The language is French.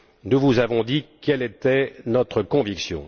Nous vous avons dit quelle était notre conviction.